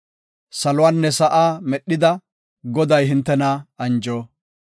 Saluwanne sa7aa medhida Goday hintena anjo.